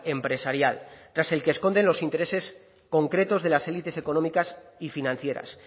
empresarial tras el que esconden los intereses concretos de las élites económicas y financieras